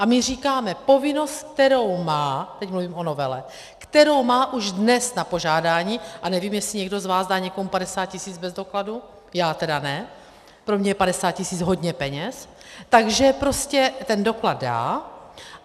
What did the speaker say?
A my říkáme: povinnost, kterou má - teď mluvím o novele - kterou má už dnes na požádání, a nevím, jestli někdo z vás dá někomu 50 tisíc bez dokladu, já teda ne, pro mě je 50 tisíc hodně peněz, takže prostě ten doklad dá.